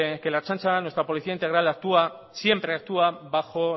que la ertzaintza nuestra policía integral siempre actúa bajo